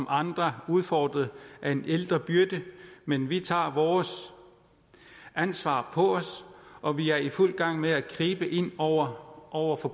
andre udfordret af en ældrebyrde men vi tager vores ansvar på os og vi er i fuld gang med at gribe ind over over for